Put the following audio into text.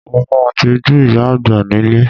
Mo máa tijú ìyá àgbà nílé